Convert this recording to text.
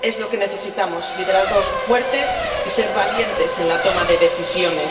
Es lo que necesitamos liderazgos fuertes y ser valientes en la toma de decisiones.